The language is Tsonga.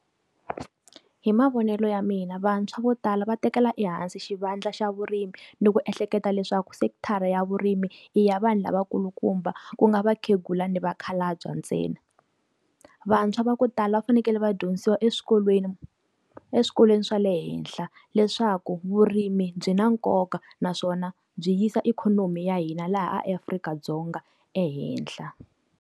Hi mavonelo ya mina vantshwa vo tala va tekela ehansi xi vandla xa vurimi ni ku ehleketa leswaku sekithara ya vurimi i ya vanhu lavakulukumba ku nga vakhegula ni vakhalabya ntsena. Vantshwa va ku tala va fanekele va dyondzisiwa eswikolweni, eswikolweni swa le henhla leswaku vurimi byi na nkoka naswona byi yisa ikhonomi ya hina laha Afrika-Dzonga ehenhla.